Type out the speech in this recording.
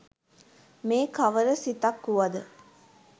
මේ කවර සිතක් වුවද